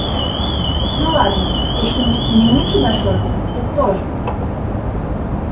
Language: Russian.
ну ладно если мы не мы тебя создали то кто же